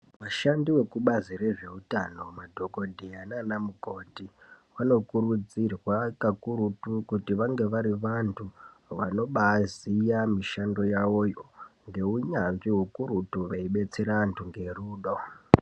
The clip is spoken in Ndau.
Vashandi vekubazi rezvehutano, madhokodheya nana mukoti, vanokurudzirwa kakurutu kuti vange vari vantu vanobaziya mishando yavo ngehunyanzvi kakurutu veibetsera antu ngerudo.